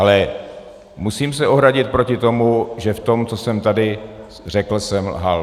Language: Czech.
Ale musím se ohradit proti tomu, že v tom, co jsem tady řekl, jsem lhal.